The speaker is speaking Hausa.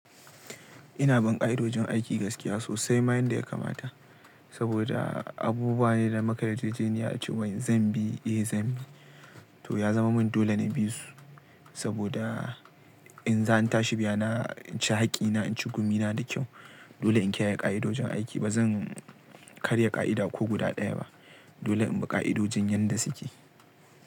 Ina bin ƙa'idojin aiki gaskiya, sosai ma yanda ya kamata. Saboda abubuwa ne da mukayi yarjejeniya ce wai zan bi, eh zan bi. To ya zama min dole ne bi su. Saboda in zan tashi biya, inci haƙƙina, inci gumi na da kyau. Dole in kiyaye ƙa'idojin aiki. Ba zan karya ƙa'ida ko guda ɗaya ba. Dole in bi ƙa'idojin yanda suke.